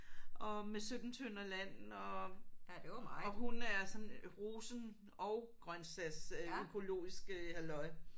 Og med 17 tønder land og og hun er sådan rosen og grøntsags økologisk øh halløj